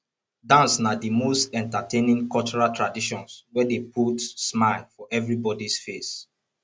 dance na di most entertaining cultural traditions wey dey put smile for everybodys face